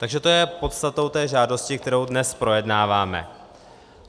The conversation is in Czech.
Takže to je podstatou té žádosti, kterou dnes projednáváme.